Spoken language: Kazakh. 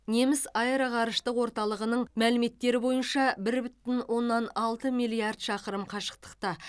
неміс аэроғарыштық орталығының мәліметтері бойынша бір бүтін оннан алты миллиард шақырым қашықтықта